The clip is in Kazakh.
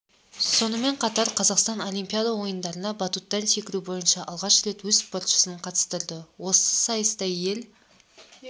сонымен қатар қазақстан олимпиада ойындарына батуттан секіру бойынша алғаш рет өз спортшысын қатыстырды осы сайыста ел